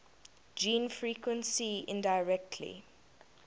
gene frequency indirectly